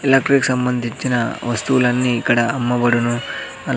electric సంబంధించిన వస్తువులన్నీ ఇక్కడ అమ్మబడును అల్--